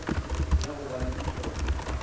ya go ba le dihlotlo